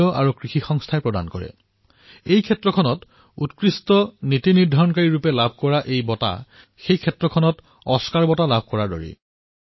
আপোনালোকে জানি সুখী হব এই খণ্ডত উন্নত নীতি নিৰ্ধাৰণৰ বাবে দিয়া এই পুৰষ্কাৰ সেই ক্ষেত্ৰৰ অস্কাৰৰ সমপৰ্যায়ৰ